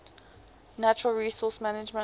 natural resource management